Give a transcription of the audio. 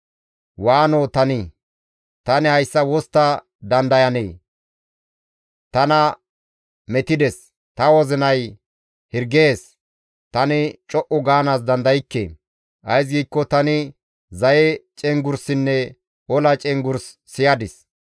Waanoo tanii! Tani hayssa wostta dandayanee! Tana metides! Ta wozinay hirgees; tani co7u gaanaas dandaykke. Ays giikko tani zaye cenggurssinne ola cenggurs siyadis.